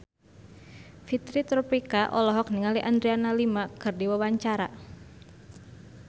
Fitri Tropika olohok ningali Adriana Lima keur diwawancara